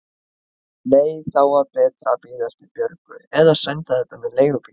Nei, þá var betra að bíða eftir Björgu eða senda þetta með leigubíl.